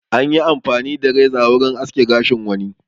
Anyi amfani da reza wurin aske gashin wani.